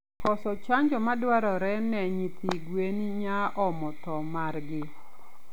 Koso chanjo madwarore ne nyithi gwen nyaomo thoo margi